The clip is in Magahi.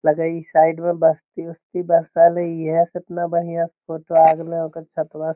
लगे हेय इ साइड में बस्ती उसती बा इहे से एतना बढ़िया से फोटो आ गेले ओकर --